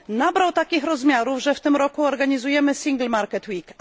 nabrało takich rozmiarów, że w tym roku organizujemy Single Market Week.